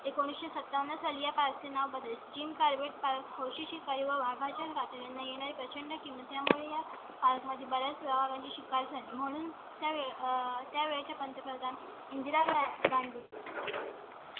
एकोणावीस सत्तावन्न साला पासून हा बदल जिम gym carbot park होशी काही व्हावया चे नाही नाही पेशंट किंवा त्यामुळे या काळात माझी बाळं शिकाय चे म्हणून त्यावेळी त्या वेळच्या पंतप्रधान इंदिरा गांधी.